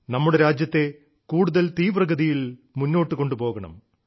നമ്മുടെ രാജ്യത്തെ കൂടുതൽ തീവ്രഗതിയിൽ മുന്നോട്ടു കൊണ്ടുപോകണം